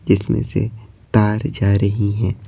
जिसमें से तार जा रही हैं।